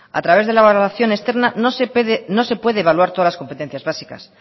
a través de la valoración externa no se puede evaluar todas las competencias básicas